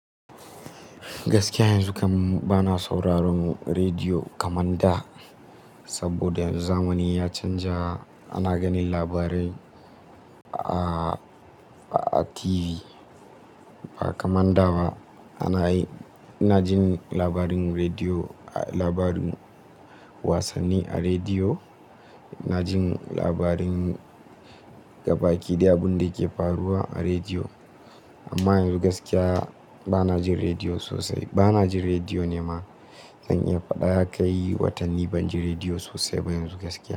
Gaskiya yanzu kam bana sauraron rediyo kaman da, saboda yanzu zamani ya canja ana ganin labarai a, a TV ba kamanda ba. Ana yi, ina jin labarin rediyo, labarin wasanni a rediyo, na jin labarin gabaki daya abun da ke faruwa a rediyo. Amma yanzu gaskiya bana jin rediyo sosai. Bana jin rediyo ne ma, zan iya faɗa kai watanni banji rediyo sosai ba yanzu gaskiya.